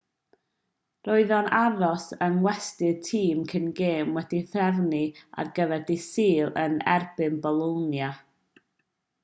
roedd e'n aros yng ngwesty'r tîm cyn gêm wedi'i threfnu ar gyfer dydd sul yn erbyn bolonia